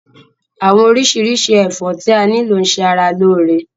Àwọn oríṣiríṣi ẹfọ ti a ni lo n ṣe ará lóore.